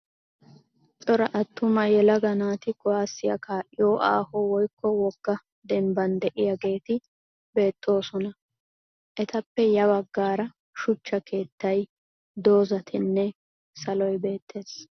Cora attuma yelaga naati kuwaasiya kaa'iyo aaho woykko wogga dembban diyageeti beettoosona. Etappe ya baggaara shuchcha keettay, dozzatinne saloy beettees.